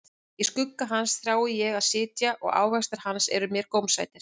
Í skugga hans þrái ég að sitja, og ávextir hans eru mér gómsætir.